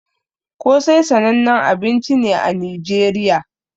Kosai sananne abinci ne a nigeriya